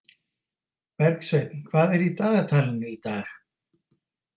Bergsveinn, hvað er í dagatalinu í dag?